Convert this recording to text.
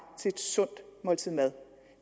til et sundt måltid mad